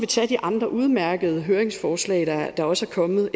tage de andre udmærkede høringsforslag der også er kommet